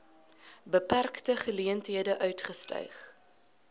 beperkte geleenthede uitgestyg